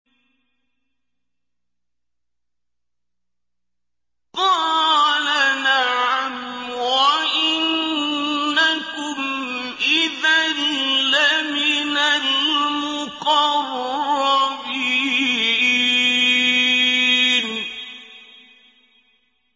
قَالَ نَعَمْ وَإِنَّكُمْ إِذًا لَّمِنَ الْمُقَرَّبِينَ